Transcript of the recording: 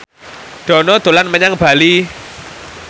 Dono dolan menyang Bali